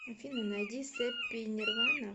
афина найди сэппи нирвана